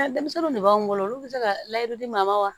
Denmisɛnninw de b'anw bolo olu bɛ se ka layidu di maa ma wa